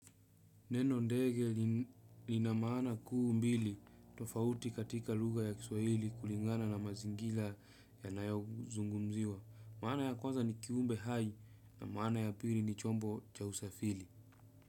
Neno ndege lina maana kuu mbili tofauti katika lugha ya kiswahili kulingana na mazingira ya nayo zungumziwa. Maana ya kwanza ni kiumbe hai na maana ya pili ni chombo cha usafiri.